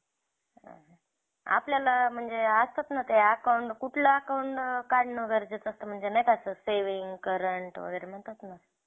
आपल्याला म्हणजे ते असतात ना ते account कुठलं account काढणं गरजेचं असतं म्हणजे नाही का असं saving, current वगैरे म्हणतात ना